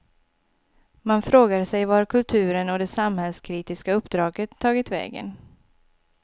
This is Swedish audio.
Man frågar sig var kulturen och det samhällskritiska uppdraget tagit vägen.